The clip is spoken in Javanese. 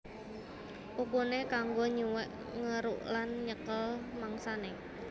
Kukuné kanggo nyuwèk ngeruk lan nyekel mangsané